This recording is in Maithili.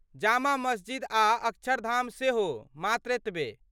जामा मस्जिद आ अक्षरधाम सेहो , मात्र एतबे।